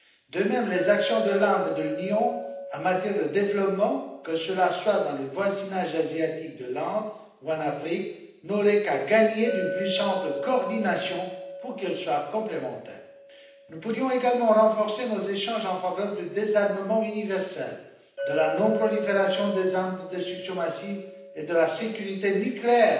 De même, les actions de l'Inde et de l'Union en matière de développement, que ce soit dans le voisinage asiatique de l'Inde ou en Afrique, auraient tout à gagner d'une plus ample coordination pour qu'elles soient complémentaires. Nous pourrions également renforcer nos échanges en faveur du désarmement universel, de la non prolifération des armes de destruction massive et de la sécurité nucléaire.